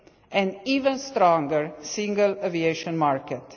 sector and an ever stronger single aviation